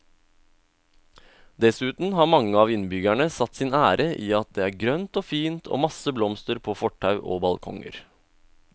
Dessuten har mange av innbyggerne satt sin ære i at det er grønt og fint og masse blomster på fortau og balkonger.